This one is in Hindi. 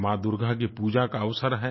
माँ दुर्गा की पूजा का अवसर है